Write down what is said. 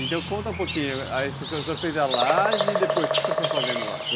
Então conta um pouquinho, você fez a laje e depois o que você foi fazendo lá?